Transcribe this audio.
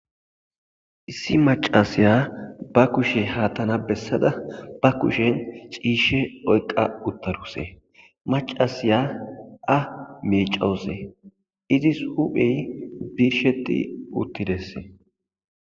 issi macasiya ba kushe haattana bessada ba kushen ciishe oyqa uttarusee macasiya a miicawussee izis huphey birsheti uttidessee